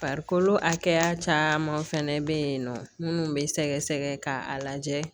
Farikolo hakɛya caman fɛnɛ bɛ yen nɔ minnu bɛ sɛgɛsɛgɛ k'a lajɛ